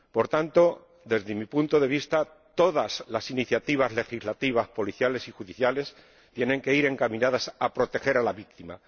Por tanto, desde mi punto de vista, todas las iniciativas legislativas policiales y judiciales tienen que ir encaminadas a proteger a la víctima.